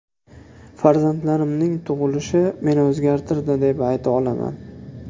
Farzandlarimning tug‘ilishi meni o‘zgartirdi, deb ayta olaman.